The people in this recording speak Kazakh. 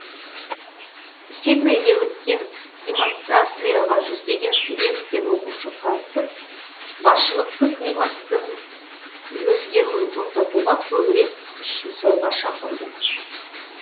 сиднейде өткен демонстрацияға жүздеген студент пен оқушы қатысып басшылықты климаттың өзгеруін тоқтатуға көбірек күш жұмсауға шақырды